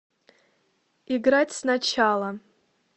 играть сначала